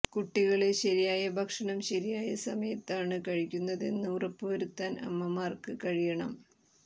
കുട്ടികള് ശരിയായ ഭക്ഷണം ശരിയായ സമയത്താണ് കഴിക്കുന്നതെന്ന് ഉറപ്പുവരുത്താൻ അമ്മമാര്ക്ക് കഴിയണം